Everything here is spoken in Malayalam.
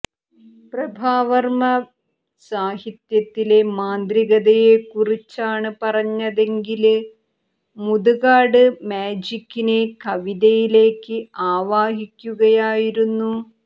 പ്രഭാവര്മ്മ സാഹിത്യത്തിലെ മാന്ത്രികതയെക്കുറിച്ചാണ് പറഞ്ഞതെങ്കില് മുതുകാട് മാജിക്കിനെ കവിതയിലേക്ക് ആവാഹിക്കുകയായിരുന്നു